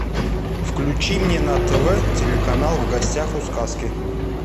включи мне на тв телеканал в гостях у сказки